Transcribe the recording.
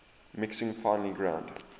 mixing finely ground